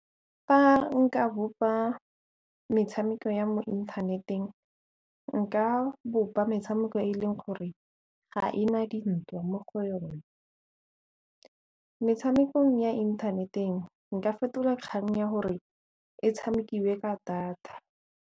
Fa nka bopa metshameko ya mo inthaneteng nka bopa metshameko e e leng gore ga e na dintwa mo go yone, metshamekong ya inthaneteng nka fetola kgang ya gore e tshamekiwe ka data.